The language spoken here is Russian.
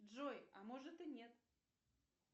джой а может и нет